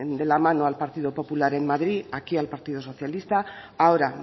de la mano al partido popular en madrid aquí al partido socialista ahora